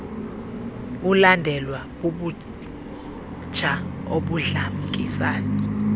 bulandelwa bubutsha obudlamkisayo